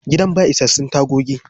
Gidan ba isassun tagogi.